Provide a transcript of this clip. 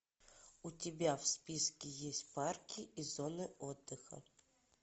у тебя в списке есть парки и зоны отдыха